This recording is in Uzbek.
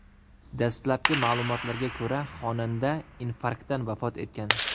Dastlabki ma’lumotlarga ko‘ra, xonanda infarktdan vafot etgan.